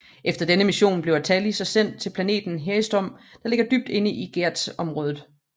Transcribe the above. Efter denne mission bliver Tali så sendt til planeten Haestrom der ligger dybt inde i Geth områder